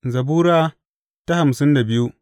Zabura Sura hamsin da biyu